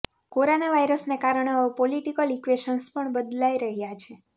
corona વાયરસને કારણે હવે પોલિટિકલ ઈક્વેશન્સ પણ બદલાઈ રહ્યાં છે